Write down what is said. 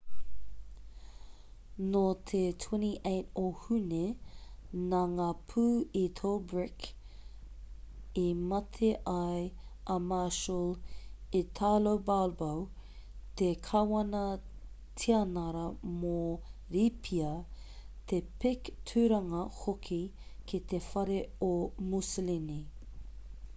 nō te 28 o hune nā ngā pū i tobruk i mate ai a marshal italo balbo te kāwana-tianara mō rīpia te pik tūranga hoki ki te whare o mussolini